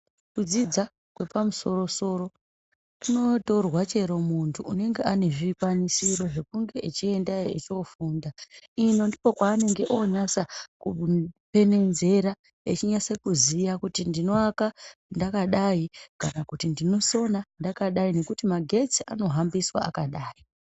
Kudzidza kwepamusoro soro kunotorwa chero mundu unenge aane zvikwanisiro zvekunge echiendayo echofunda ino ndokwaanenge onatsa kupenenzera echinatse kuziya kuti ndinowaka ndaakadai kana kuti ndinosona ndakadai nekuti magetsi anohambiswe akadayi.